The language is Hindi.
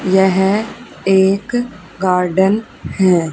यह एक गार्डन है।